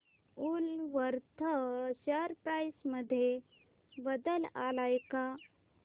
Woolworth share price मध्ये बदल आलाय का